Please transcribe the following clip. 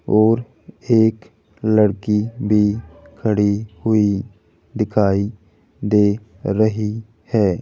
और एक लड़की भी खड़ी हुई दिखाई दे रही है।